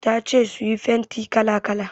Ta ce su sayi fenti kala-kala.